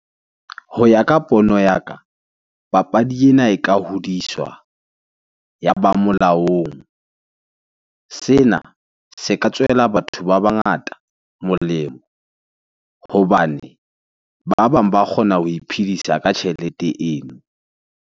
Ho ya ka pono ya ka, papadi ena e ka hodiswa, ya ba molaong. Sena se ka tswela batho ba bangata molemo hobane ba bang ba kgona ho iphedisa ka tjhelete eno.